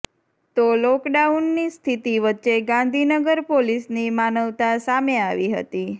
તો લોકડાઉનની સ્થિતિ વચ્ચે ગાંધીનગર પોલીસની માનવતા સામે આવી હતી